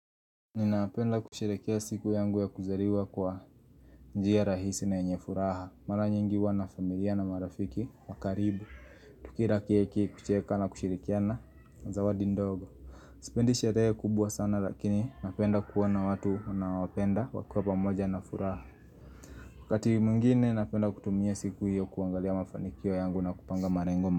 Ninapenda kusherehekea siku yangu ya kuzaliwa kwa njia rahisi na yenye furaha Mara nyingi huwa na familia na marafiki wa karibu Tukila keki kucheka na kushirikiana na zawadi ndogo Sipendi sherehe kubwa sana lakini napenda kuwaona watu na wanaowapenda wakiwa pamoja na furaha Wakati mwingine napenda kutumia siku hiyo kuangalia mafanikio yangu na kupanga malengo.